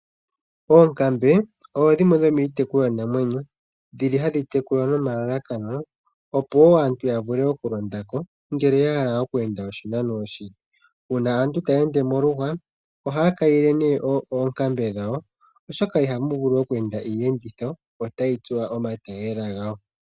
Oonkambe odho ndhimwe dhomiitekulwa namwenyo . Ndhi hadhi tekulwa nelalakano opo aantu yavule oku londako ngele yahala oku enda oshinano oshile. Uuna aantu taya ende moluhwa ohaya kayile nee oonkambe dhawo oshoka ihamu vulu oku enda iiyenditho otayi tsuwa komatayiyela gawo.